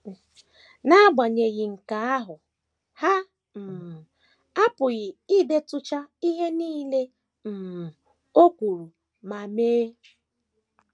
N’agbanyeghị nke ahụ, ha um apụghị idetucha ihe nile um o kwuru ma mee.